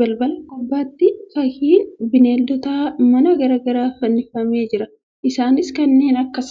Balbala gubbaatti fakkiin beelladoota manaa garagaraa fannifamee jira. Isaanis kanneen akka